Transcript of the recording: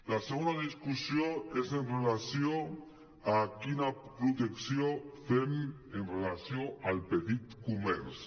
la segona discussió és amb relació a quina protecció fem amb relació al petit comerç